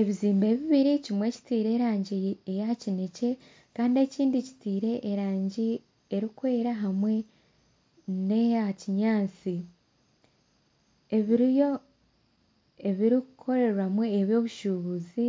Ebizimbe bibiri kimwe kitire erangi ya kinekye Kandi ekindi kitire erangi erikwera hamwe neya kinyansi . Ebirikukorerwamu eby'obushuubuzi